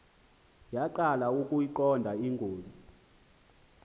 yaqala ukuyiqonda ingozi